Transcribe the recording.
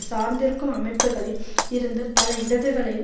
சார்ந்திருக்கும் அமைப்புக்களில் இருந்து பல இடதுகளையும்